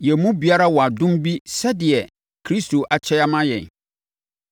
Yɛn mu biara wɔ adom bi sɛdeɛ Kristo akyɛ ama yɛn.